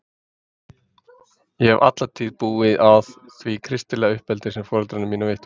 Ég hef alla tíð búið að því kristilega uppeldi sem foreldrar mínir veittu mér.